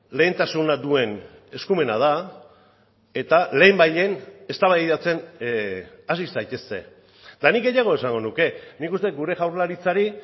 lehentasuna duen eskumena da eta lehenbailehen eztabaidatzen hasi zaitezte eta nik gehiago esango nuke nik uste dut gure jaurlaritzari